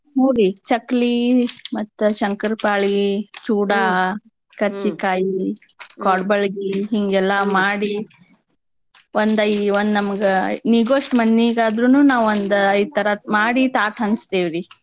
ಹೂ ರೀ ಚಕ್ಲೀ ಮತ್ತ ಶಂಕರ್ಪಾಳೀ, ಚೂಡಾ, ಕರ್ಜಿಕಾಯಿ, ಕೋಡ್ಬಾಳ್ಗಿ ಹಿಂಗೆಲ್ಲಾ ಮಾಡಿ ಒಂದ್ ಐ~ ಒಂದ್ ನಮಗ ನೀಗೋಷ್ಟ್ ಮಂದೀಗಾದ್ರೂನೂ ನಾವ್ ಒಂದ ಐದ್ ತರಾದ್ ಮಾಡಿ ತಾಟ್ ಹಂಚ್ತೇವ್ರಿ.